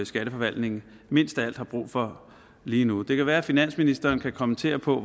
skatteforvaltningen mindst af alt har brug for lige nu det kan være finansministeren kan kommentere på